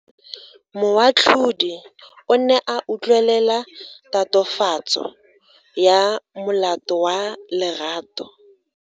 Moatlhodi o ne a utlwelela tatofatso ya molato wa Lerato.